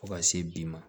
Fo ka se bi ma